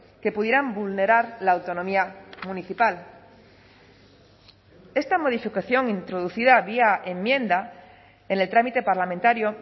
que pudieran vulnerar la autonomía municipal esta modificación introducida vía enmienda en el trámite parlamentario